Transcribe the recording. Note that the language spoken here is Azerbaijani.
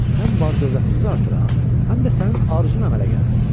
həm bar-dövlətimizi artıraq, həm də sənin arzun əmələ gəlsin.